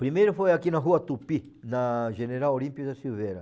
Primeiro foi aqui na Rua Tupi, na General Olímpia da Silveira.